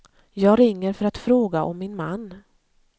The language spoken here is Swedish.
Jag ringer för att fråga om min man.